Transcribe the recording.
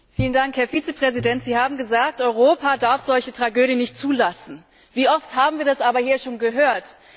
Frau Präsidentin! Herr Vizepräsident, Sie haben gesagt, Europa darf solche Tragödien nicht zulassen. Wie oft haben wir das aber hier schon gehört?